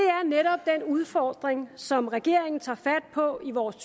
udfordring som regeringen tager fat på i vores